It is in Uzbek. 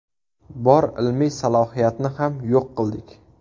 Bor ilmiy salohiyatni ham yo‘q qildik.